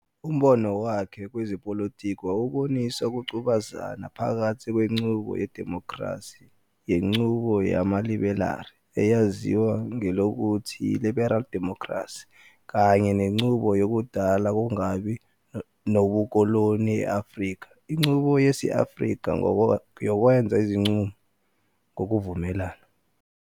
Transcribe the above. Umbono wakhe kwezepolitiki wawubonisa ukungqubuzana phakathi kwenqubo yedimokhrasi yenqubo yamaliberali, eyaziwa ngelokuthi yi--liberal democracy kanye nenqubo yakudala kungakabi nobukoloni e-Afrika inqubo yesi-Afrika yokwenza izinqumo ngokuvumelana.